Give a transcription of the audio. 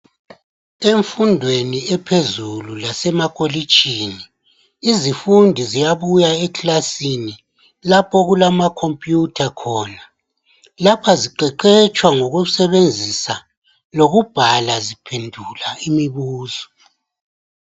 Emfundweni ephezulu lasemakolitshini izifundi ziyabuya ekilasini lapho okulama khompuyutha khona, lapha ziqeqetshwa ngokusebenzisa lokubhala, ziphenduka imibuzo.